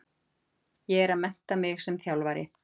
Ég er að mennta mig sem þjálfari.